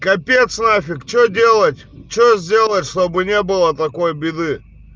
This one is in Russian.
капец нафиг что делать что сделать чтобы не было такой беды